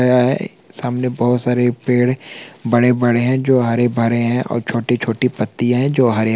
सामने बहुत सारे पेड़ बड़े-बड़े है जो हरे-भरे है. और छोटी-छोटी पत्तिया है जो हरे रंग की है।